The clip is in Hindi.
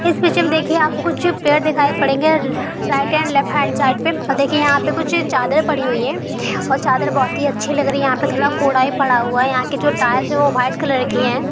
इस पिक्चर में देखिये आपको कुछ पेड़ देखाई पड़ेंगे| और राइटे और लेफ्ट हैण्ड साइड पे | और देखिये यहाँ पे कुछ चादर पड़ी हुई है और चादर बहुत ही अच्छे लग रही है| यहाँ पे थोडा कूड़ा भी पड़ा हुआ है| यहाँ की जो टाइल्स है वो वाइट कलर की है।